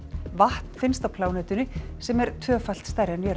vatn finnst á plánetunni sem er tvöfalt stærri en jörðin